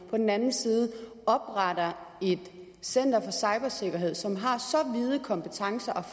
på den anden side opretter et center for cybersikkerhed som har så vide kompetencer og